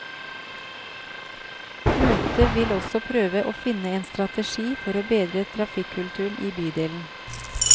Møtet vil også prøve å finne en strategi for å bedre trafikkulturen i bydelen.